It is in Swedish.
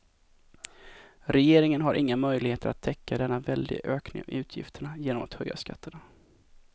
Regeringen har inga möjligheter att täcka denna väldiga ökning av utgifterna genom att höja skatterna.